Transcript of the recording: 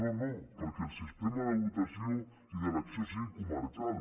no no perquè el sistema de votació i d’elecció sigui comarcal